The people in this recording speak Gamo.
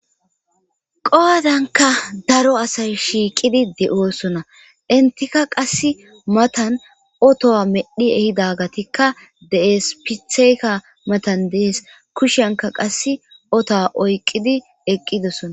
Qowadanka daro asay shiiqidi de'oosona intika qass matan otowa medhi ehidagatikka de'espitheyka matan dees kushanka qass otoa oyqqidi eqqidosona.